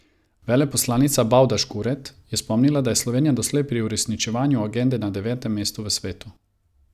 Veleposlanica Bavdaž Kuret je spomnila, da je Slovenija doslej pri uresničevanju agende na devetem mestu v svetu.